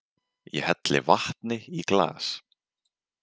Ég helli vatni í glas.